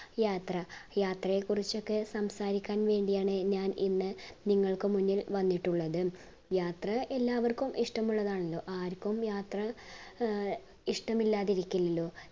യാത്ര യാത്രയെ കുറിച്ചൊക്കെ സംസാരിക്കാൻ വേണ്ടിയാണ് ഞാൻ ഇന്ന് നിങ്ങൾക്കു മുന്നിൽ വന്നിട്ടുള്ളത് യാത്ര എല്ലാവർക്കും ഇഷ്ടമുള്ളതാണല്ലോ ആർക്കും യാത്ര അഹ് ഇഷ്ടമില്ലാതിരിക്കില്ലല്ലോ